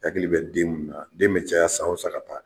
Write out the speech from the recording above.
Hakili bɛ den munnu na den bɛ caya san o san ka ta